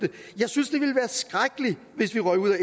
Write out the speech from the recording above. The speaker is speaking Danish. det er jo